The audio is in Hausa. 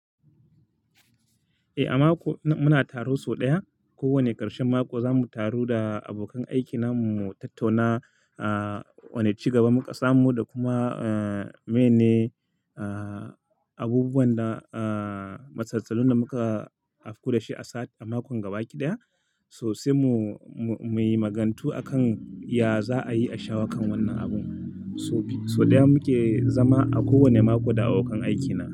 A mako, muna taro sau ɗaya kowane ƙarshen mako. Zamu taru da abokan aikinmu, mu tattauna wane ci gaba muka samu da kuma mene abubuwan da matsatsatun da muka afku da shi a makon gaba kiɗaya. Sosai mu yi magantu akan ya za a yi a shawo kan wannan abun. Sau ɗaya muke zama a kowane mako da abokan aikina.